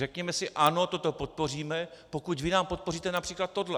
Řekněme si ano, toto podpoříme, pokud vy nám podpoříte například tohle.